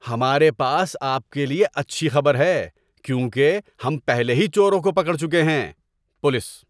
ہمارے پاس آپ کے لیے اچھی خبر ہے کیونکہ ہم پہلے ہی چوروں کو پکڑ چکے ہیں۔ (پولیس)